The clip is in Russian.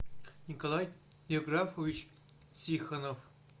николай евграфович тихонов